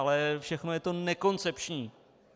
Ale všechno je to nekoncepční.